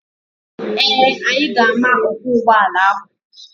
Ee, anyị ga-ama ọkwọ ụgbọala ahụ.